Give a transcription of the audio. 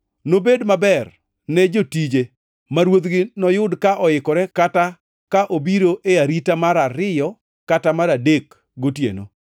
Nobed maber ne jotije ma ruodhgi noyud ka oikore kata ka obiro e arita mar ariyo kata mar adek gotieno.